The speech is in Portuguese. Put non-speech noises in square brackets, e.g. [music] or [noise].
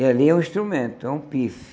E ali é um instrumento, é um. [unintelligible]